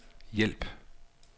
hjælp